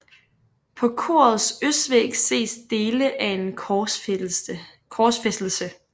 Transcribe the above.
På korets østvæg ses dele af en Korsfæstelse